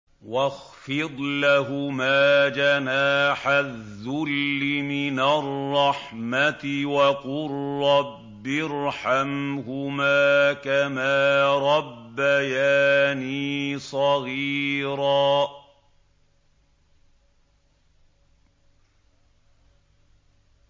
وَاخْفِضْ لَهُمَا جَنَاحَ الذُّلِّ مِنَ الرَّحْمَةِ وَقُل رَّبِّ ارْحَمْهُمَا كَمَا رَبَّيَانِي صَغِيرًا